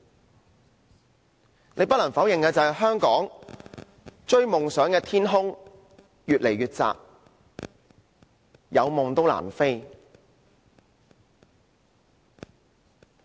大家不得否認香港讓人追求夢想的天空越來越窄，有夢亦難飛。